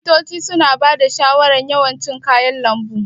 Likitoci suna bada shawarar yawan cin kayan lambu.